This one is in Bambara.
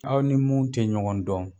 Aw ni mun tɛ ɲɔgɔn dɔn.